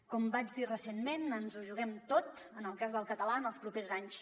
com vaig dir recentment ens ho juguem tot en el cas del català en els propers anys